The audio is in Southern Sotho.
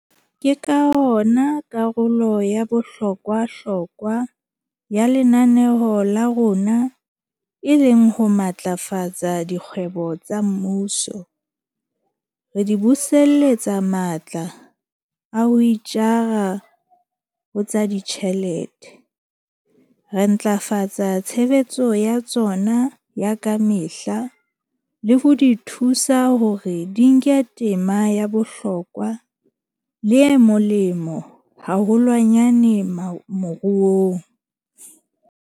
Ke ka hona karolo ya bohlokwa-hlokwa ya lenaneo la rona e leng ho matlafatsa dikgwebo tsa mmuso, re di buseletsa matla a ho itjara ho tsa ditjhelete, re ntlafatsa tshebetso ya tsona ya ka mehla le ho di thusa hore di nke tema ya bohlokwa le e molemo haholwanyane moruong.